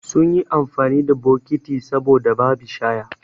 Sunyi amfani da bokiti saboda babi shaya